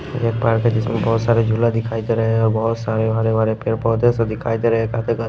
एक पार्क है जिसमे बहुत सारे झूला दिखाई दे रहे है और बहुत सारे हरे हरे पेड़ पौधे से दिखाई दे रहे है--